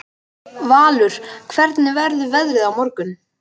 Valur, hvernig verður veðrið á morgun?